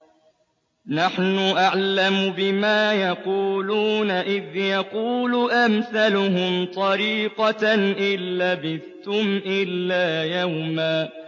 نَّحْنُ أَعْلَمُ بِمَا يَقُولُونَ إِذْ يَقُولُ أَمْثَلُهُمْ طَرِيقَةً إِن لَّبِثْتُمْ إِلَّا يَوْمًا